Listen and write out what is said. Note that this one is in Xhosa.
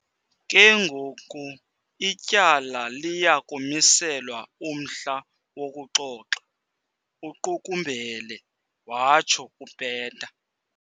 "Ke ngoku ityala liya kumiselwa umhla wokuxoxa," uqukumbele watsho uPeta.